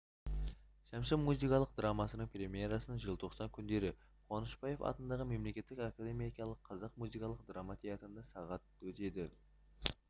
шәмші музыкалық драмасының премьерасы желтоқсан күндері қуанышбаев атындағы мемлекеттік академиялық қазақ музыкалық драма театрында сағат өтеді